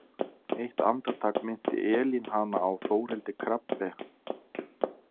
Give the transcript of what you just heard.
Eitt andartak minnti Elín hana á Þórhildi Krabbe.